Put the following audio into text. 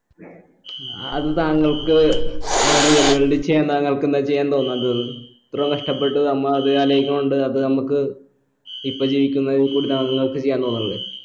അഹ് അത് താങ്കൾക്ക് ഏർ real world ൽ ചെയ്യാൻ താങ്കൾക്ക് എന്താ ചെയ്യാൻ തോന്നാത്തത് ഇത്രയും കഷ്ടപ്പെട്ട് ഇത്രയും കഷ്ടപ്പെട്ട് നമ്മ അത് അലോയ്‌ച്ചോണ്ട് അത് നമ്മക്ക് ഇപ്പൊ ജീവിക്കുന്നതിക്കൂടി താങ്കൾക്ക് ചെയ്യാൻ തോന്നണില്ലേ